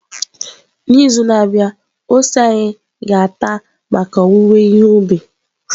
N'izu na-abịa ose anyị ga-ata maka owuwe ihe ubi.